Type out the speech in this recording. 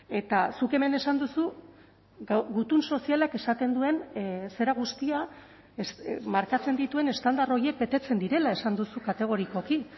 eta zuk hemen esan duzu gutun sozialak esaten duen zera guztia markatzen dituen estandar horiek betetzen direla esan duzu kategorikoki